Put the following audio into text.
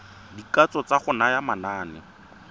dikatso tsa go naya manane